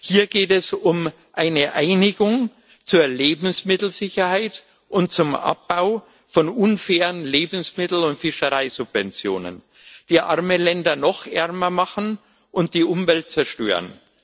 Hier geht es um eine Einigung zur Lebensmittelsicherheit und zum Abbau von unfairen Lebensmittel und Fischereisubventionen, die arme Länder noch ärmer machen und die Umwelt zerstören.